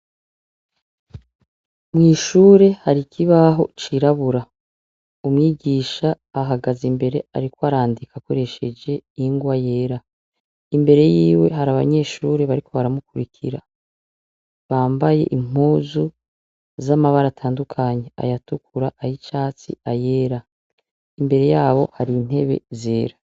Mw'ishuri hari ikibaho cirabura, umwigisha ahagaze imbere ariko arandika akoresheje ingwa yera, imbere yiwe hari abanyeshure bariko baramukurikira bambaye impuzu z'amabara atandukanye ayatukura, ay'icatsi, ayera imbere yaho hari intebe zera.